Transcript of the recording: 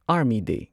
army ꯗꯦ